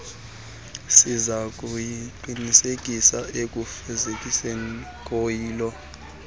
sizakuqinisa ukufezekiswa koyilo